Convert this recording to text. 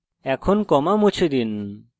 এখন comma মুছে দিন